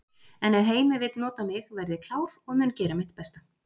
En ef Heimir vill nota mig verð ég klár og mun gera mitt besta.